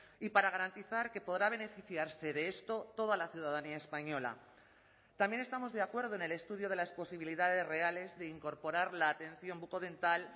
y para garantizar que podrá beneficiarse de esto toda la ciudadanía española también estamos de acuerdo en el estudio de las posibilidades reales de incorporar la atención bucodental